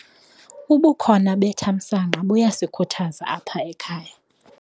Ubukhona bethamsanqa buyasikhuthaza apha ekhaya.